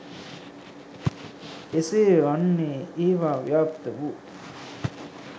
එසේ වන්නේ ඒවා ව්‍යාප්ත වූ